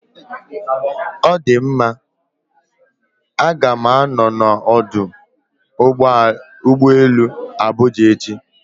Ọ dị mma, A ga m anọ na ọdụ ụgbọ elu Abuja echi